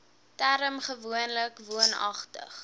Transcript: term gewoonlik woonagtig